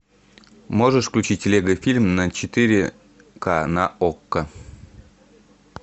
можешь включить лего фильм на четыре к на окко